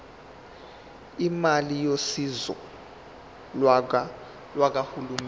imali yosizo lukahulumeni